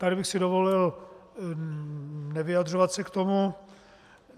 Tady bych si dovolil nevyjadřovat se k tomu.